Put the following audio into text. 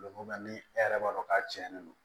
ni e yɛrɛ b'a dɔn k'a tiɲɛnen don